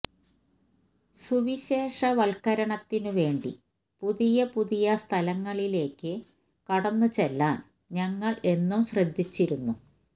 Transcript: സുവിശേഷവത്കരണത്തിനു വേണ്ടി പുതിയ പുതിയ സ്ഥലങ്ങളിലേയ്ക്കു കടന്നുചെല്ലാന് ഞങ്ങള് എന്നും ശ്രദ്ധിച്ചിരുന്നു